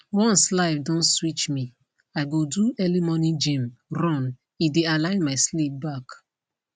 once life don switch me i go do early morning gym run e dey align my sleep back